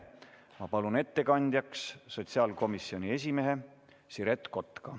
Ma palun ettekandjaks sotsiaalkomisjoni esimehe Siret Kotka.